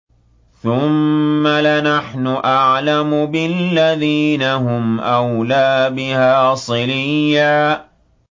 ثُمَّ لَنَحْنُ أَعْلَمُ بِالَّذِينَ هُمْ أَوْلَىٰ بِهَا صِلِيًّا